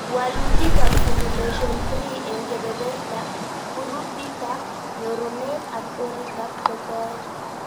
Walutik ab Simulation 3 eng kebeberta, kurupitab nyorunet ak oritab kotoet